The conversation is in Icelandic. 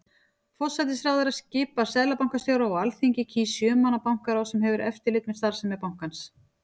Forsætisráðherra skipar seðlabankastjóra og Alþingi kýs sjö manna bankaráð sem hefur eftirlit með starfsemi bankans.